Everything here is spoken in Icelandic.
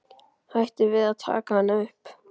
Hætti við að taka hana upp.